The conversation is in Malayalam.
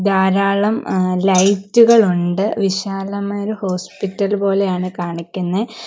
ധാരാളം എ ലൈറ്റ് കൾ ഉണ്ട് വിശാലമായ ഒരു ഹോസ്പിറ്റൽ പോലെയാണ് കാണിക്കുന്ന.